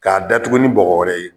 K'a datugu ni bɔgɔ wɛrɛ ye.